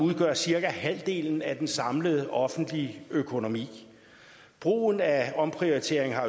udgør cirka halvdelen af den samlede offentlige økonomi brugen af omprioritering har